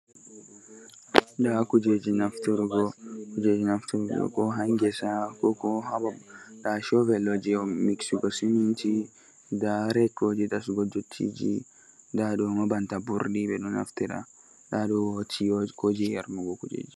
a a da da aa